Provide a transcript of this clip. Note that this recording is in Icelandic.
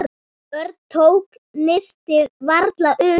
Örn tók nistið varlega upp.